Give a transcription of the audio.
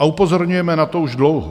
A upozorňujeme na to už dlouho.